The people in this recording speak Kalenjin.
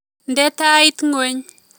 Nde tait ngweny